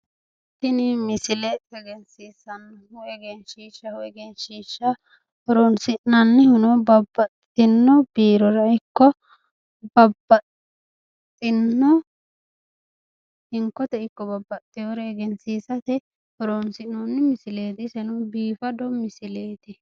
Tini misile egensiisanohu egenshiishshaho egenshshisha horonnisinannihuno babbaxino biirorano ikko babbaxino hinkote ikko babaxewore egensiisate horonnsinooni misileet